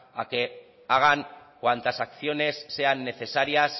a que hagan cuantas acciones sean necesarias